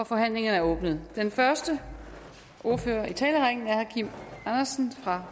forhandlingen er åbnet den første ordfører i talerrækken er herre kim andersen fra